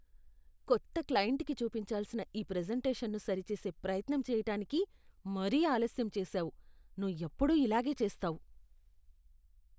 కొత్త క్లయింట్కి చూపించాల్సిన ఈ ప్రెజెంటేషన్ను సరిచేసే ప్రయత్నం చేయటానికి మరీ ఆలస్యం చేసావు. నువ్వు ఎప్పుడూ ఇలాగే చేస్తావు.